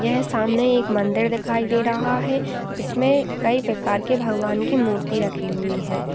यह सामने एक मंदिर दिखाई दे रहा है जिसमे कई प्रकार के भगवान की मूर्ति रखी हुई है।